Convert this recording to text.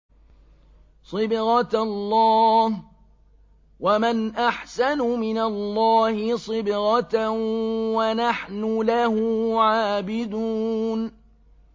صِبْغَةَ اللَّهِ ۖ وَمَنْ أَحْسَنُ مِنَ اللَّهِ صِبْغَةً ۖ وَنَحْنُ لَهُ عَابِدُونَ